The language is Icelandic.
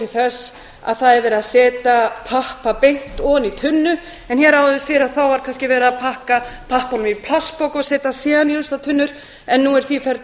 þess að það er verið setja pappa beint ofan í kunna en hér áður fyrr var kannski verið að pakka pappanum í plastpoka og setja hann síðan í ruslatunnur en nú er því ferli